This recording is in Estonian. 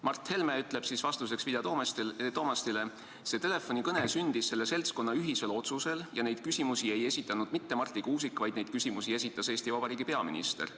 Mart Helme ütleb vastuseks Vilja Toomastile: "See telefonikõne sündis selle seltskonna ühisel otsusel ja neid küsimusi ei esitanud mitte Marti Kuusik, vaid neid küsimusi esitas Eesti Vabariigi peaminister [...